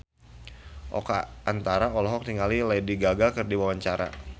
Oka Antara olohok ningali Lady Gaga keur diwawancara